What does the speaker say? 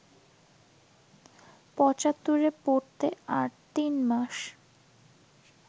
পঁচাত্তরে পড়তে আর তিনমাস